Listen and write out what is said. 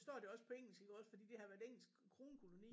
Står det også på engelsk iggås fordi de har været engelsk kronkoloni